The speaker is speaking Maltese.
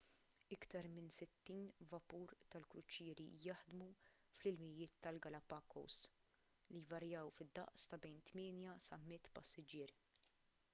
iktar minn 60 vapur tal-kruċieri jaħdmu fl-ilmijiet tal-galapagos li jvarjaw fid-daqs ta' bejn 8 sa 100 passiġġier